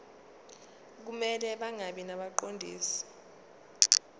kumele bangabi ngabaqondisi